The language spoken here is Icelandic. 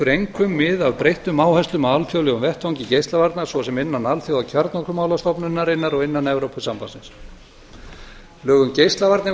einkum mið af breyttum áherslum á alþjóðlegum vettvangi geislavarna svo sem innan alþjóðakjarnorkumálastofnunarinnar og innan evrópusambandsins lög um geislavarnir